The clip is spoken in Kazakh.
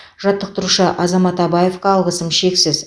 жаттықтырушы азамат абаевқа алғысым шексіз